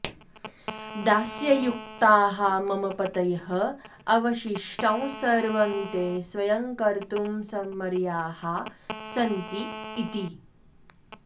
दास्ययुक्ताः मम पतयः अवशिष्टं सर्वं ते स्वयं कर्तुं समर्याः सन्ति इति